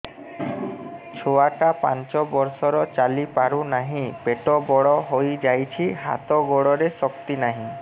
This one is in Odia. ଛୁଆଟା ପାଞ୍ଚ ବର୍ଷର ଚାଲି ପାରୁ ନାହି ପେଟ ବଡ଼ ହୋଇ ଯାଇଛି ହାତ ଗୋଡ଼ରେ ଶକ୍ତି ନାହିଁ